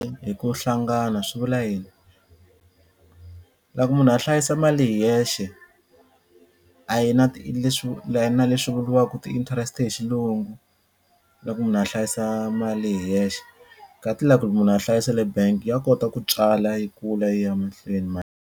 Hi ku hlangana swi vula yini? Loko munhu a hlayisa mali hi yexe a yi na leswi a yi na leswi vuriwaka ti-interest hi xilungu loko munhu a hlayisa mali hi yexe kati loko munhu a hlayisa le bangi ya kota ku tswala yi kula yi ya mahlweni .